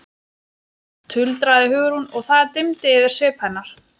tuldraði Hugrún og það dimmdi yfir svip hennar.